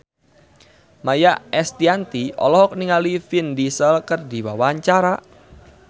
Maia Estianty olohok ningali Vin Diesel keur diwawancara